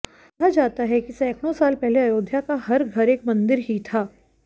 कहा जाता है कि सैकड़ों साल पहले अयोध्या का हर घर एक मंदिर ही था